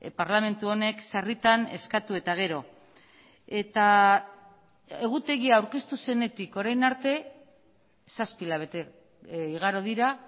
parlamentu honek sarritan eskatu eta gero eta egutegia aurkeztu zenetik orain arte zazpi hilabete igaro dira